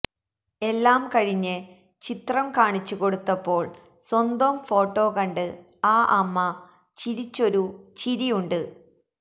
എല്ലാം കഴിഞ്ഞ് ചിത്രം കാണിച്ചുകൊടുത്തപ്പോള് സ്വന്തം ഫോട്ടോ കണ്ട് ആ അമ്മ ചിരിച്ചൊരു ചിരിയുണ്ട്